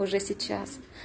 уже сейчас